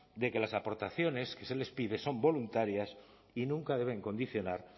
de que las aportaciones que se les pide son voluntarias y nunca deben condicionar